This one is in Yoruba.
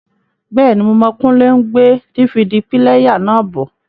Bẹ́ẹ̀ni, Mo mọ̀ Kúnlé n gbé DVD píléyà náà bọ̀